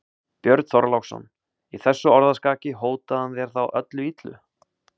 Björn Þorláksson: Í þessu orðaskaki, hótaði hann þér þá öllu illu?